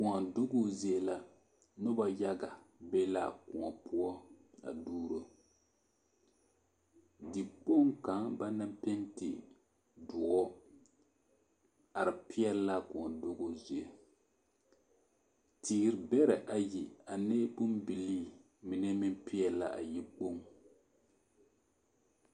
Koɔ dugu zie la noba yaga be la a koɔ poɔ a duuro. dikpoŋ kaŋa banaŋ penti doɔ are peɛle a koɔ duguu zie teere bɛrɛ ayi ane a bombilii mine meŋ peɛle la a yikpoŋ.